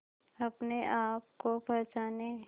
अपने आप को पहचाने